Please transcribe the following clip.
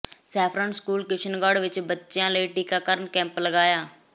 saffron school Kishangarh ਵਿਚ ਬੱਚਿਆਂ ਲਈ ਟੀਕਾਕਰਨ ਕੈਂਪ ਲਗਇਆ